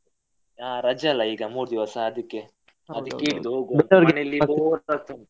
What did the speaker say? ಹಾ ರಜೆ ಅಲ್ಲ ಮೂರು ದಿವಸ ಅದಕ್ಕೆ. ಅದಕ್ಕೆ ಇದು.